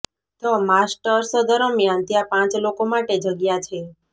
the masters દરમિયાન ત્યાં પાંચ લોકો માટે જગ્યા છે